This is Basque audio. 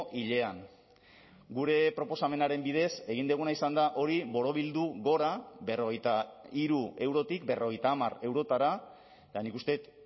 hilean gure proposamenaren bidez egin duguna izan da hori borobildu gora berrogeita hiru eurotik berrogeita hamar eurotara eta nik uste dut